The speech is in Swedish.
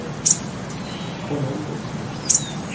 Colombo